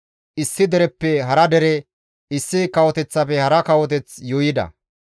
issi dereppe hara dere, issi kawoteththafe hara kawoteth yuuyida.